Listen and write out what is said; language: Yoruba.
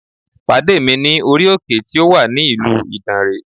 Pàdé mi ní orí òkè tí ó wà ní ìlú Ìdànrè